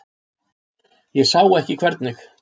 Ég sá ekki hvernig.